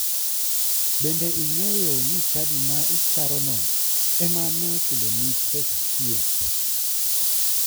Bende ing'eyo ni chadi ma icharono ema ne ochuloni pes thieth?